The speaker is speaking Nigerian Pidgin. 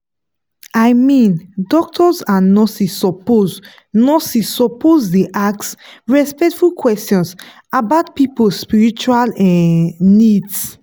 i mean doctors and nurses suppose nurses suppose dey ask respectful questions about people spiritual um needs.